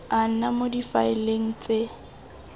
a nna mo difaeleng tse